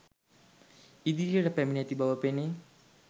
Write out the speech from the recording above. ඉදිරියට පැමිණ ඇති බව පෙනේ